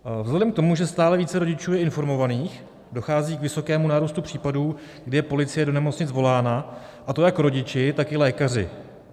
Vzhledem k tomu, že stále více rodičů je informovaných, dochází k vysokému nárůstu případů, kdy je policie do nemocnic volána, a to jak rodiči, tak i lékaři.